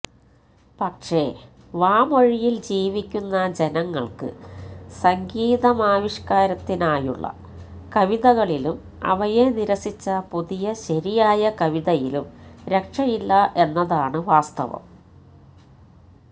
പക്ഷേ വാമൊഴിയിൽ ജീവിക്കുന്ന ജനങ്ങൾക്ക് സംഗീതാവിഷ്ക്കാരത്തിനായുളള കവിതകളിലും അവയെ നിരസിച്ച പുതിയ ശരിയായ കവിതയിലും രക്ഷയില്ല എന്നതാണ് വാസ്തവം